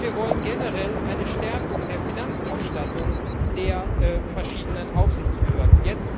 Und wir wollen generell eine Stärkung der Finanzausstattung der verschiedenen Aufsichtsbehörden.